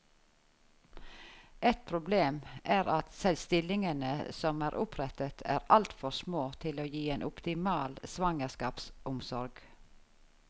Et problem er at stillingene som er opprettet er altfor små til å gi en optimal svangerskapsomsorg.